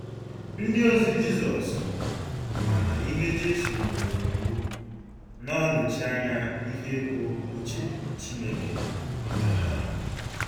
Ndịozi Jizọs ma na ihe Jesu nyere n’iwu na-anọchi anya ihe bụ́ uche Chineke maka ha.